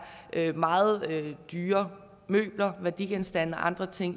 er meget dyre møbler værdigenstande og andre ting